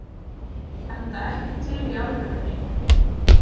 Enda ekki til í alvörunni.